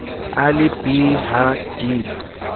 a le b ha d